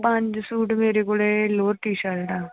ਪੰਜ ਸੂਟ ਮੇਰੇ ਕੋਲ ਲੋਅਰ ਟੀ ਸਰਟਾਂ।